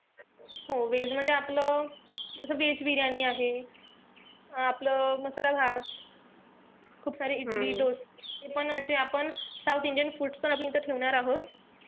हो veg मध्ये आपलं, जस veg बिर्याणी आहे. आपलं मसाला भात, इडली, डोसा, हेपण म्हणजे आपण south indian foods पण आपण इथं ठेवणार आहोत.